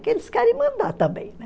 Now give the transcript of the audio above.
Que eles querem mandar também, né?